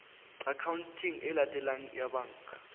akhaonteng e latelang ya banka